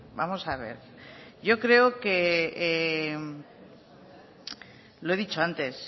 vamos a ver yo creo que lo he dicho antes